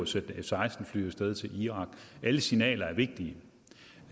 sendt f seksten fly af sted til irak er alle signaler vigtige